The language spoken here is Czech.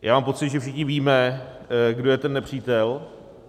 Já mám pocit, že všichni víme, kdo je ten nepřítel.